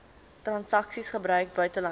transaksies gebruik buitelandse